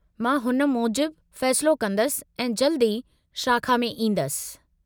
मां हुन मूजिबु फ़ैसिलो कंदसि ऐं जल्द ई शाखा में ईंदसि।